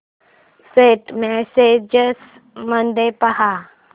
Saint messages मध्ये पहा